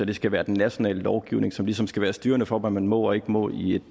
det skal være den nationale lovgivning som ligesom skal være styrende for hvad man må og ikke må i